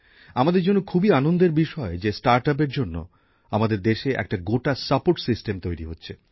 আমাদের জন্য খুবই আনন্দের বিষয় যে স্টার্ট আপের জন্য আমাদের দেশে একটা গোটা সাপোর্ট সিস্টেম তৈরি হচ্ছে